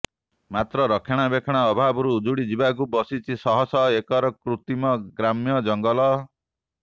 ମାତ୍ର ରକ୍ଷାଣାବେକ୍ଷଣ ଅଭାବରୁ ଉଜୁଡି ଯିବାକୁ ବସିଛି ଶହ ଶହ ଏକରର କୃତ୍ରିମ ଗ୍ରାମ୍ୟ ଜଙ୍ଗଲ